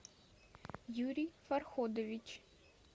юрий фарходович